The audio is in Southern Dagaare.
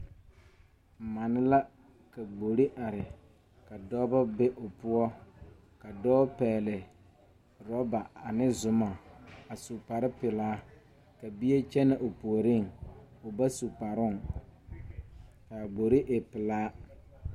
Mane la ka gbore are ka dɔbɔ be o poɔ ka dɔɔ pɛgle rɔba ane zumɔ a su kparepelaa ka bie kyɛnɛ o puoriŋ o ba su kparoŋ kaa gbore e pelaa.